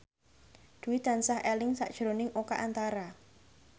Dwi tansah eling sakjroning Oka Antara